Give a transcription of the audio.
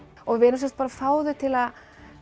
og við erum semsagt bara að fá þau til að